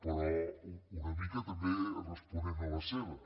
però una mica també responent a la seva